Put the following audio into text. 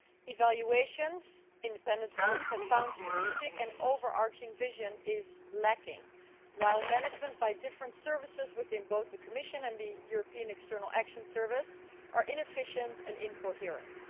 Evaluations, independent ones, have found that a strategic and overarching vision is lacking, while management by different services within both the Commission and the European External Action Service are inefficient and incoherent.